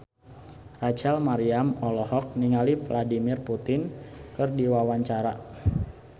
Rachel Maryam olohok ningali Vladimir Putin keur diwawancara